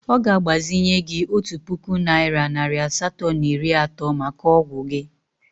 Ọ ga-agbazinye gị otu puku naịra nari asatọ na iri atọ maka ọgwụ gị.